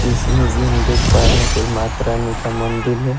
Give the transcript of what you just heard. इस इमेज में हम देख पा रहे हैं कोई माता रानी का मंदिल है।